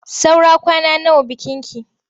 Saura kwana nawa bikinki?